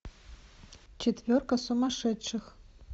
четверка сумасшедших